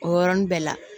O yɔrɔnin bɛɛ la